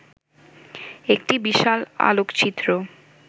একটি বিশাল আলোকচিত্র